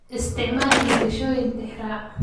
Isticmaal xigashooyin tixraac.